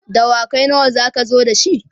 dawakai nawa zaka zo da shi?